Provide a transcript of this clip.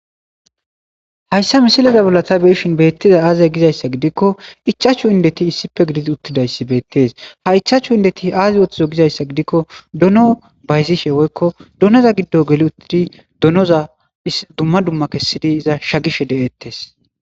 hayssa misileza bollata beyishin beettiza aaze gizayssa gidikko ichaachchu indeti issife gidid uttidayssi beettes ha ichaachu indeti aazi woththizo gizayssa gidikko dono bayzishe woykko donoza giddo geli uttidi donoza dumma dumma kessidi iza shagishe de7ettes